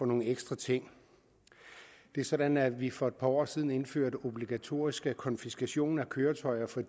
nogle ekstra ting det er sådan at vi for et par år siden indførte obligatorisk konfiskation af køretøjer for